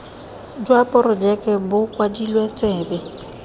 jwa porojeke bo kwadilwe tsebe